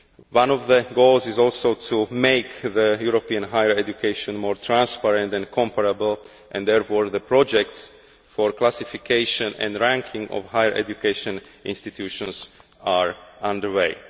One of the goals is also to make European higher education more transparent and comparable, and therefore the projects for classification and ranking of higher education institutions are under way.